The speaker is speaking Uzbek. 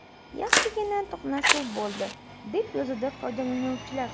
Yaxshigina to‘qnashuv bo‘ldi”, deb yozadi foydalanuvchilar.